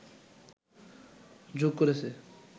যোগ করেছে